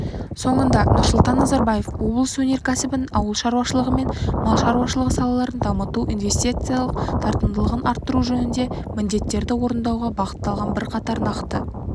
соңында нұрсұлтан назарбаев облыс өнеркәсібін ауыл шаруашылығы мен мал шаруашылығы салаларын дамыту инвестициялық тартымдылығын арттыру жөнінде міндеттерді орындауға бағытталған бірқатар нақты